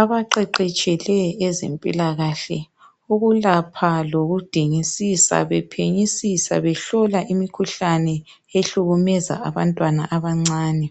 Abaqeqetshileyo ezempilakahle ukulapha lokudingisisa bephenyisisa behlola imikhuhlane ehlukumeza abantwana abancane